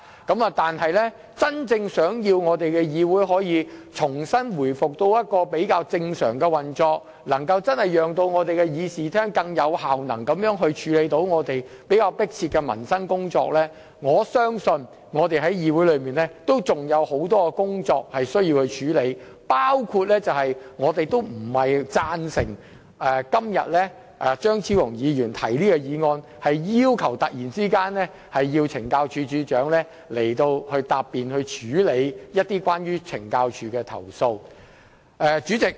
若要議會真正回復較正常的運作，以便真正在議事廳內更有效能地處理較迫切的民生工作，相信我們在議會內仍有很多事情需要處理，包括不贊成張超雄議員今天突然提出，要求懲教署署長前來答辯及處理有關懲教署的投訴的議案。